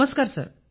नमस्कार सर